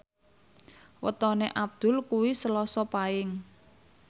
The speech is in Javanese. wetone Abdul kuwi Selasa Paing